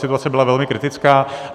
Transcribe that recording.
Situace byla velmi kritická.